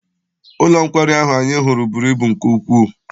Ụlọ nkwari ahụ anyị hụrụ buru ibu nke ukwuu.